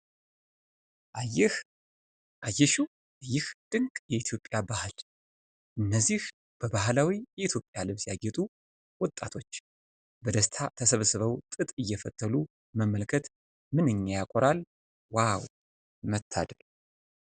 አየህ/አየሽው ይህን ድንቅ የኢትዮጵያ ባህል! እነዚህ በባህላዊ የኢትዮጵያ ልብስ ያጌጡ ወጣቶች! በደስታ ተሰብስበው ጥጥ እየፈትሉ መመልከት ምንኛ ያኮራል ዋው መታደል!